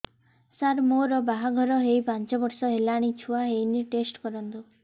ସାର ମୋର ବାହାଘର ହେଇ ପାଞ୍ଚ ବର୍ଷ ହେଲାନି ଛୁଆ ହେଇନି ଟେଷ୍ଟ କରନ୍ତୁ